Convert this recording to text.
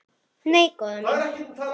Nei, góða mín.